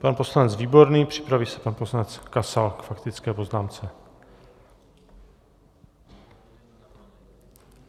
Pan poslanec Výborný, připraví se pan poslanec Kasal k faktické poznámce.